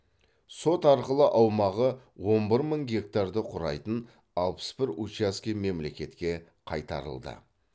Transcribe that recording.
сот арқылы аумағы он бір мың гектарды құрайтын алпыс бір учаске мемлекетке қайтарылды